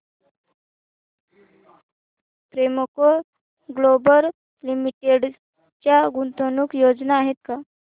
Premco global limited च्या गुंतवणूक योजना आहेत का